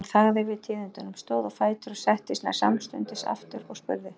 Jón þagði við tíðindunum, stóð á fætur, settist nær samstundis aftur og spurði